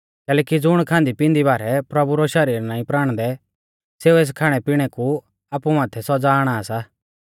कैलैकि ज़ुण खांदीपिंदी बारै प्रभु रौ शरीर नाईं प्राणदै सेऊ एस खाणैपिणै कु आपु माथै सौज़ा आणा सा